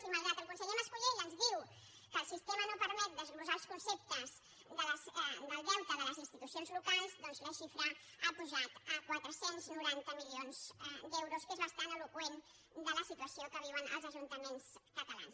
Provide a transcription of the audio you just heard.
i malgrat que el conseller mas·colell ens diu que el sistema no permet desglossar els conceptes del deute de les institucions locals doncs la xifra ha pujat a quatre cents i noranta milions d’eu·ros que és bastant eloqüent de la situació que viuen els ajuntaments catalans